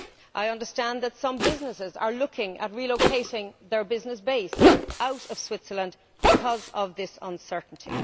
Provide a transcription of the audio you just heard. I understand that some businesses are looking at relocating their business base out of Switzerland because of this uncertainty.